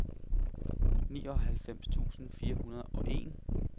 nioghalvfems tusind fire hundrede og en